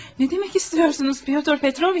Nə demək istəyirsiniz Pyotr Petroviç?